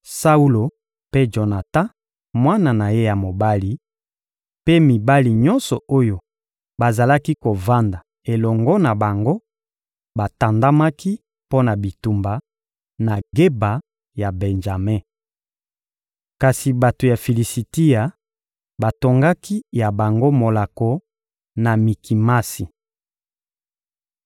Saulo mpe Jonatan, mwana na ye ya mobali, mpe mibali nyonso oyo bazalaki kovanda elongo na bango batandamaki mpo na bitumba, na Geba ya Benjame. Kasi bato ya Filisitia batongaki ya bango molako na Mikimasi.